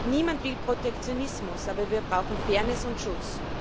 Niemand will Protektionismus, aber wir brauchen Fairness und Schutz.